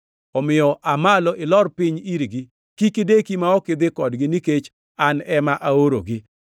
Omiyo aa malo ilor piny irgi. Kik ideki ma ok idhi kodgi nikech an ema aorogi.”